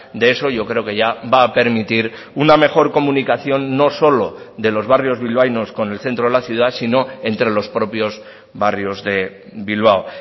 de eso yo creo que ya va a permitir una mejor comunicación no solo de los barrios bilbaínos con el centro de la ciudad si no entre los propios barrios de bilbao